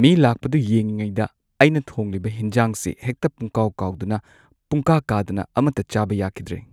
ꯃꯤ ꯂꯥꯛꯄꯗꯨ ꯌꯦꯡꯂꯤꯉꯩꯗ ꯑꯩꯅ ꯊꯣꯡꯂꯤꯕ ꯍꯦꯟꯖꯥꯡꯁꯤ ꯍꯦꯛꯇ ꯄꯨꯝꯀꯥꯎ ꯀꯥꯎꯗꯅ ꯄꯨꯝꯀꯥ ꯀꯥꯗꯅ ꯑꯃꯠꯇ ꯆꯥꯕ ꯌꯥꯈꯤꯗ꯭ꯔꯦ꯫